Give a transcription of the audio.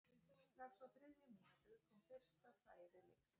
Strax á þriðju mínútu kom fyrsta færi leiksins.